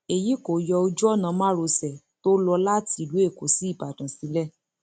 èyí kò yọ ojú ọnà márosẹ tó lọ láti ìlú èkó sí ìbàdàn sílẹ